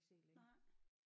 Nej